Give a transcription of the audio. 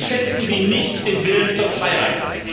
Unterschätzen Sie nicht den Willen zur Freiheit!